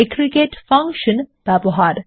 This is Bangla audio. এগ্রিগেট ফাংশন ব্যবহার